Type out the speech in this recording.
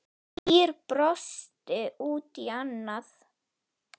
Ýr brosti út í annað.